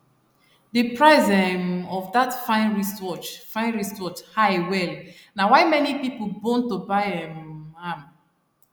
the price um of that fine wristwatch fine wristwatch high well na why many people bone to buy um am